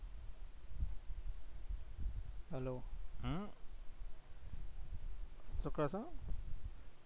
hello શું કે છો?